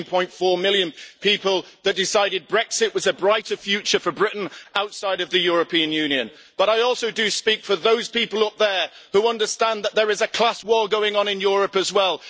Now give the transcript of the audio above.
17.4 million people that decided Brexit was a brighter future for Britain outside of the European Union. But I also do speak for those people up there who understand that there is a class war going on in Europe as well.